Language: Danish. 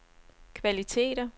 kvaliteter